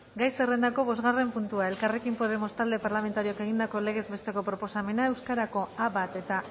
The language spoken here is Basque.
gai zerrendako bostgarren puntua elkarrekin podemos talde parlamentarioak egindako legez besteko proposamena euskarako a bat eta